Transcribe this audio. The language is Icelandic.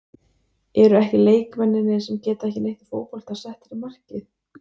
Eru ekki leikmennirnir sem geta ekki neitt í fótbolta settir í markið?